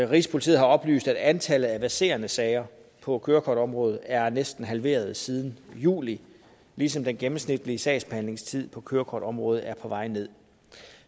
rigspolitiet har oplyst at antallet af verserende sager på kørekortområdet er næsten halveret siden juli ligesom den gennemsnitlige sagsbehandlingstid på kørekortområdet er på vej nederst